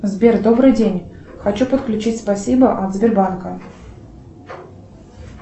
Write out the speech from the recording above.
сбер добрый день хочу подключить спасибо от сбербанка